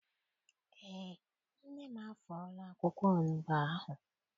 Eé, nne m afọọla akwụkwọ onugbu ahụ.